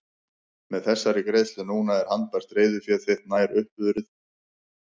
Með þessari greiðslu núna er handbært reiðufé þitt nær upp urið.